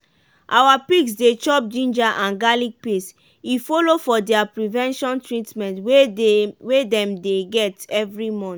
our pigs dey chop ginger and garlic paste e follow for their prevention treatment wey dem dey get every month.